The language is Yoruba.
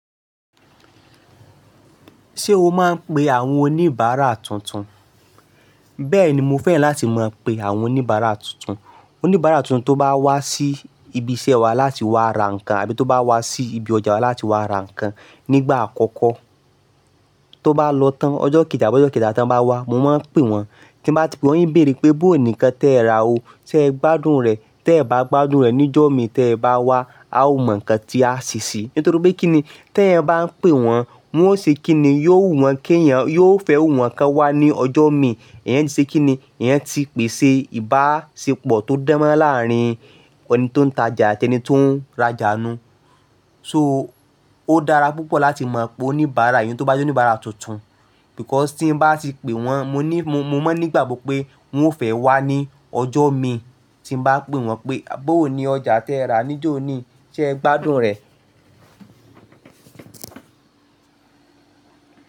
Ṣé o máa ń pe àwọn oníbàárà tuntun? Bẹ́ẹ̀ni, mo fẹ́ràn láti mọ̀ pé àwọn oníbàárà tuntun, oníbàárà tuntun tó bá wá sí ibi iṣẹ́ wa láti wá ra nǹkan àbí tó bá wá sí ibi ọjà wa láti wá ra nǹkan nígbà àkọ́kọ́ tó bá lọ tán ọjọ́ kejì àbọ́ ọjọ́ keta tí wọ́n bá wá, mo máa ń pè wọ́n. Tí n bá ti pè wọ́n, n béèrè pé, "Bó ni nnkán tí ẹ́ ra o, ṣé ẹ gbádùn rẹ̀?" Tí ẹ́ bá gbádùn rẹ̀, níjó mi tí ẹ́ bá wá, a ó mọ̀ ǹnkan tí a sì ṣe. Nítorí pé kí ni, tí ẹ́ bá ń pè wọ́n, wọn ó ṣe kí ni, yóò wù wọ́n kí èèyàn, yóò fẹ́wù wọ́n kí wọ́n wá ní ọjọ́ mi. Ẹ̀eyan ti ṣe kí ni, ẹ̀eyan ti pèsè ìbáṣepọ̀ tó dánmọ́ran láàrín ọ̀ni tó ń tajà àti ẹni tó ń rajà nù. So ó dára púpọ̀ láti mọ̀ pé oníbàárà iyẹn tó bá jẹ́ oníbàárà tuntun, because tí n bá ti pè wọ́n, mo ní, mo mọ̀ nígbàgbọ́ pé wọn ó fẹ́ wá ní ọjọ́ mi tí n bá pè wọ́n pé, "Bó ni ọjà tí ẹ́ ra níjó oni, ṣé ẹ gbádùn rẹ̀?"